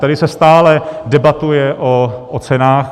Tady se stále debatuje o cenách.